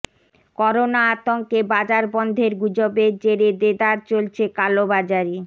corona আতঙ্কে বাজার বন্ধের গুজবের জেরে দেদার চলছে কালোবাজারি